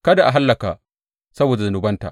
Kada a hallaka saboda zunubanta.